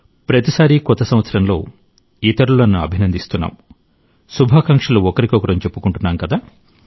ప్రతిసారికొత్త సంవత్సరంలో ఇతరులను అభినందిస్తున్నాం శుభాకాంక్షలు ఒకరికొకరం చెప్పుకుంటున్నాం కదా